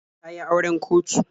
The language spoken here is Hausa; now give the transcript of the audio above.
Ta yi auren kotu.